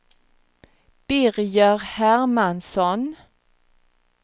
Birger Hermansson